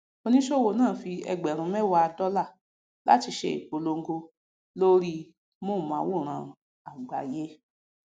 oníṣòwò náà fi ẹgbẹrún mẹwàá dọlà láti ṣe ìpolongo lórí móhùnmáwòrán àgbáyé